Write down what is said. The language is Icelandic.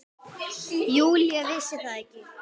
Júlía vissi það ekki.